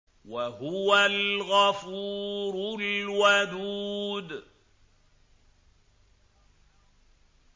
وَهُوَ الْغَفُورُ الْوَدُودُ